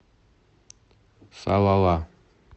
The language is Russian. салала